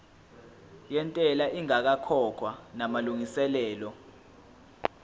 yentela ingakakhokhwa namalungiselo